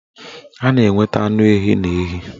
A na-enweta anụ ehi n'ehi